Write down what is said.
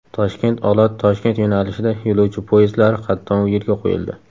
Toshkent–Olot–Toshkent yo‘nalishida yo‘lovchi poyezdlari qatnovi yo‘lga qo‘yildi.